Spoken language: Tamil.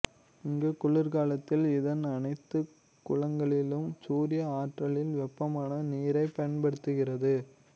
இங்கு குளிர்காலத்தில் இதன் அனைத்து குளங்களிலும் சூரிய ஆற்றலில் வெப்பமான நீரைப் பயன்படுத்துகிறது